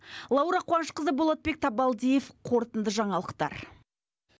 лаура қуанышқызы болатбек табалдиев қорытынды жаңалықтар